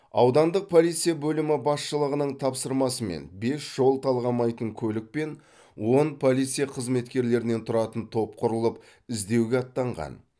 аудандық полиция бөлімі басшылығының тапсырмасымен бес жол талғамайтын көлік пен он полиция қызметкерлерінен тұратын топ құрылып іздеуге аттанған